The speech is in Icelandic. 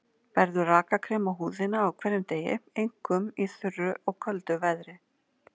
Berðu rakakrem á húðina á hverjum degi, einkum í þurru og köldu veðri.